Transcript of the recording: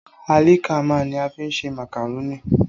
Àlìkámà ní a fi ń ṣe màkàrónì.